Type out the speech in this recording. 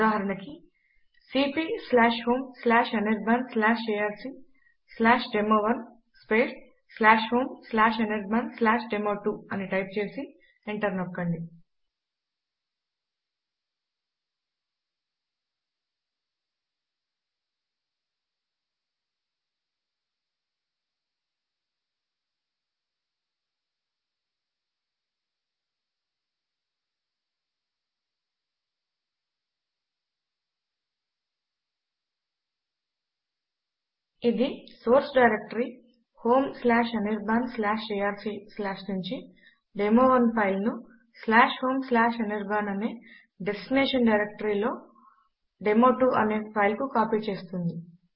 ఉదాహరణకు C P homeanirbanarcdemo1 homeanirbandemo2 అని type చేసి ఎంటర్ నొక్కండి ఇది సోర్స్ డైరెక్టరీ homeanirbanఏఆర్సీ నుంచి డెమో1 ఫైల్ ను homeanirban అనే డెస్టినేషన్ డైరెక్టరీ లో డెమో2 అనే ఫైల్ కు కాపీ చేస్తుంది